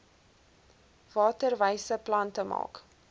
waterwyse plante maak